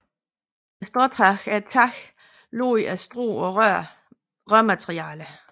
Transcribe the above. Et stråtag er et tag lagt af strå og rør materiale